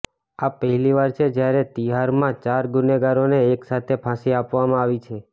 આ પહેલીવાર છે જ્યારે તિહારમાં ચાર ગુનેગારોને એક સાથે ફાંસી આપવામાં આવી છે